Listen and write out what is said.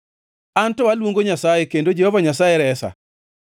An to aluongo Nyasaye, kendo Jehova Nyasaye resa.